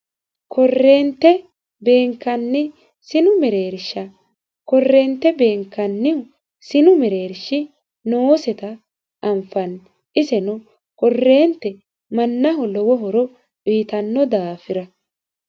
korreente beenkanni sinu mereersha korreente beenkannihu sinu mereershi nooseta anfanni iseno korreente mannaho lowo horo uyitanno daafira